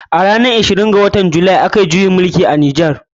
A ranar ishirin da shida ga watan july. a kayi juyin mulki a nijar.